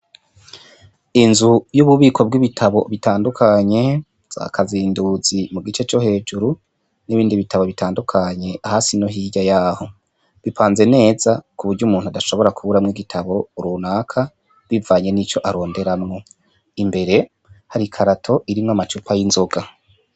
Inzu y'ububiko bw'ibitabo bitandukanye za kazinduzi mu gice co hejuru n'ibindi bitabo bitandukanye, hasi no hirya yaho bipanze neza ku burya umuntu adashobora kuburamwo igitabo runaka bivanye n'ico aronderamwo imbere har'ikarato irimwo amacupa y'inzoga.